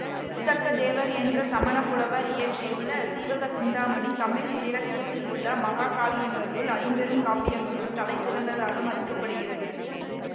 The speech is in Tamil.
திருத்தக்க தேவர் என்ற சமணப் புலவர் இயற்றியுள்ள சீவக சிந்தாமணி தமிழ் இலக்கியத்திலுள்ள மஹாகாவியங்களுள் ஐம்பெரும் காப்பியங்களுள் தலை சிறந்ததாக மதிக்கப்படுகிறது